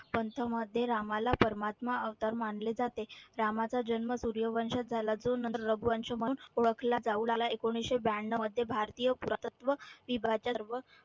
पंथमध्ये रामाला परमात्मा अवतार मानले जाते. रामाचा जन्म सुर्यवंशात झाला. जो नंतर रघुवंश म्हणून ओळखला जाऊ लागला. एकोणीसशे ब्याण्णवमध्ये भारतीय पुरातत्व विभाच्या सर्व